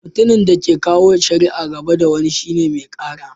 Mutumin da ke kawo shari'a gaba da wani shine "Mai Kara."